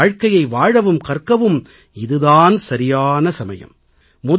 அந்த வாழ்க்கையை வாழவும் கற்கவும் இது தான் சரியான சமயம்